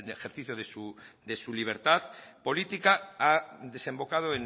de ejercicio de su libertad política ha desembocado